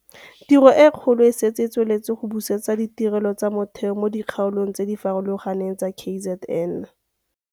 Tiro e kgolo e setse e tsweletse go busetsa ditirelo tsa motheo mo dikgaolong tse di farologaneng tsa KZN.